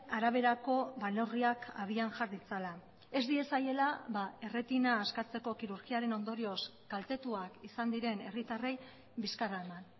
araberako neurriak abian jar ditzala ez diezaiela erretina askatzeko kirurgiaren ondorioz kaltetuak izan diren herritarrei bizkarra eman